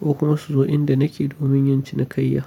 ko kuma su zo inda nake domin yin cinikayya.